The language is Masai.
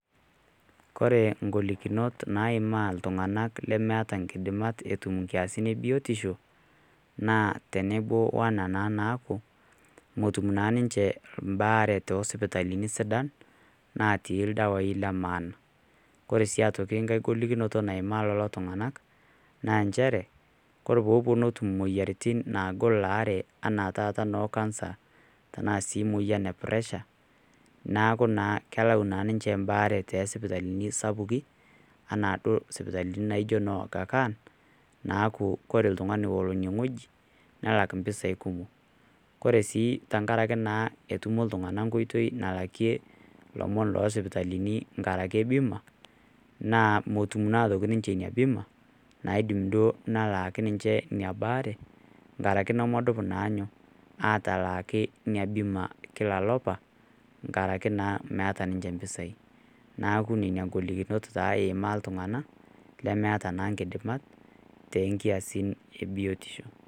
Kore ingolikinot naimaa iltung'ana lemeata inkidimat etum inkiasin e biotisho naa tenepuo anaa naa teneaku otum naa ninche embaare to isipitalini sidan natii ildawai le maana. Koree sii aitoki enkai golikinoto naimaa lelo tung'ana, naa nchere, Kore pee ewuonu atum imoyaritin naagol elaare anaa taata noo kansa, tanaa sii emoyian e presha neaku naa kelau ninche embaare too isipitalini sapukin anaa duo isipitalini naijo noo Agha Khan naaku ore oltung'ani olo one wueji nelak impisai kumok. Ore sii tenkaraki naa etutumo iltung'ana enkoitoi nalakie ilomon loo isipitalini enkarake bima naa metum naa aitoki ninche Ina bima naidim duo nelaki ninche Ina baare enkaraki nemedup naa inyoo, atalaaki ina bima kila olapa enkaraki meata naa ninche impisai neaku nena ingolikinot eimaa naa iltung'ana lemeata naa inkidimat too inkiasin e biotisho.